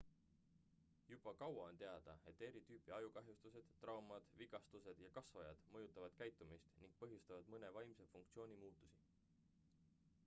juba kaua on teada et eri tüüpi ajukahjustused traumad vigastused ja kasvajad mõjutavad käitumist ning põhjustavad mõne vaimse funktsiooni muutusi